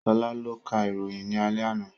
Sola ló ka ìròyìn ní alẹ́ àná